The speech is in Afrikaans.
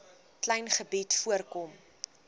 klein gebied voorkom